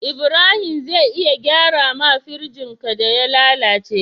Ibrahim zai iya gyara ma firjin ka da ya lalace